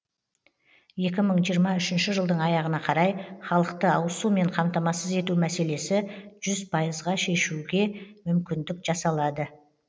екі мың жиырма үшінші жылдың аяғына қарай халықты ауызсумен қамтамасыз ету мәселесі жүз пайызға шешуге мүмкіндік жасалады